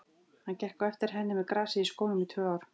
Hann gekk á eftir henni með grasið í skónum í tvö ár.